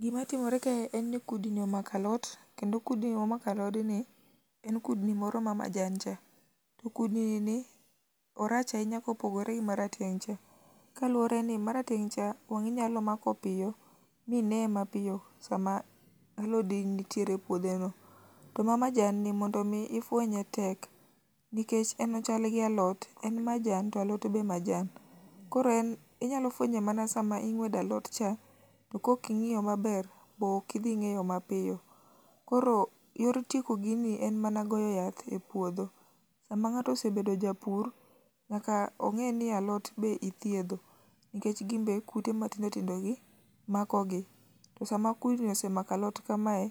Gima timore kae en ni kudni omako alot, kendo kudni momako alot ni en kudni moro ma majan cha. To kudni ni orach ahinya ka opogore gi marateng' cha. Kaluwore ni marateng' cha wang'i nyalo mako piyo mine mapiyo sama alodi nitiere e puodho no. To ma majan ni mondo mi ifwenye tek nikech en ochal gi alot, en majan to alot be majan. Koro en inyalo fwenye mana sama ing'wedo alot cha, to ka ok ing'iyo maber be ok idhi ng'eyo mapiyo. Koro yor tieko gini en mana goyoyath e puodho. Sama ng'ato osebedo japur, nyaka ong'e ni alot be ithiedho, nikech gin be kute matindo tindo gi makogi. To sama kudni osemako alot kamae,